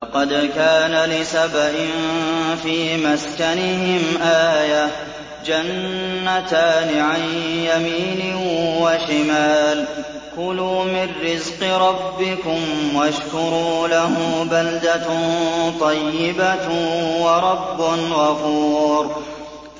لَقَدْ كَانَ لِسَبَإٍ فِي مَسْكَنِهِمْ آيَةٌ ۖ جَنَّتَانِ عَن يَمِينٍ وَشِمَالٍ ۖ كُلُوا مِن رِّزْقِ رَبِّكُمْ وَاشْكُرُوا لَهُ ۚ بَلْدَةٌ طَيِّبَةٌ وَرَبٌّ غَفُورٌ